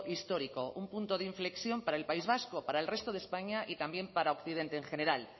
histórico un punto de inflexión para el país vasco para el resto de españa y también para occidente en general